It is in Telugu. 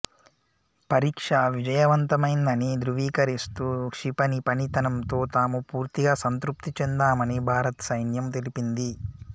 పరీక్ష విజయవంతమైందని ధ్రువీకరిస్తూ క్షిపణి పనితనంతో తాము పూర్తిగా సంతృప్తి చెందామని భారత్ సైన్యం తెలిపింది